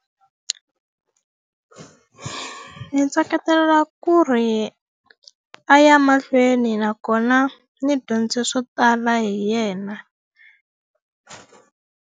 Ndzi ku ri a ya mahlweni nakona ni dyondze swo tala hi yena.